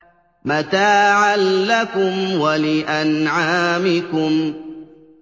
مَتَاعًا لَّكُمْ وَلِأَنْعَامِكُمْ